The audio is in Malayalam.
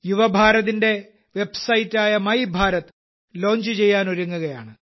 യുവഭാരതത്തിന്റെ വെബ്സൈറ്റായ മൈഭാരത് ലോഞ്ച് ചെയ്യാനൊരുങ്ങുകയാണ്